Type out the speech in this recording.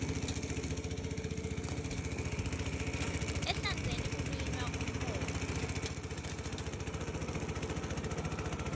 ehlandzeni kulinywa umhoba